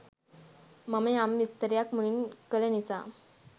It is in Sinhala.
මම යම් විස්තරයක් මුලින් කල නිසා